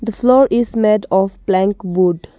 The floor is made of blank wood.